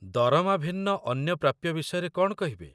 ଦରମା ଭିନ୍ନ ଅନ୍ୟ ପ୍ରାପ୍ୟ ବିଷୟରେ କ'ଣ କହିବେ?